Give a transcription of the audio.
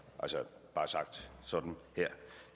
bare sagt sådan her